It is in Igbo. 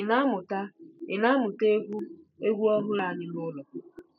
Ị na-amụta Ị na-amụta egwu egwu ọhụrụ anyị n'ụlọ?